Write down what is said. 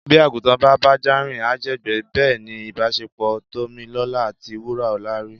Bí àgùntàn bá bájá rìn á jẹ̀gbẹ́. Bẹ́ẹ̀ ni ìbáṣepọ̀ Tómilọ́lá àti Wúràọlá rí.